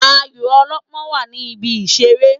Ayò ọlọ́pọ́n wà ní ibi ìṣeré.